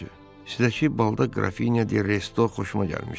Sizə ki, balda Qrafinya de Resto xoşuma gəlmişdi.